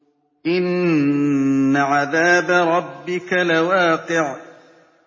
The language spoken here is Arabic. إِنَّ عَذَابَ رَبِّكَ لَوَاقِعٌ